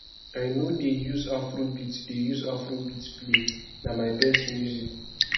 i no dey use afrobeat dey use afrobeat play na my best music